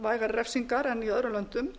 vægari refsingar en í öðrum löndum